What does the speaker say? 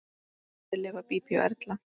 Eftir lifa Bíbí og Erla.